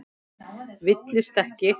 Villist ekki!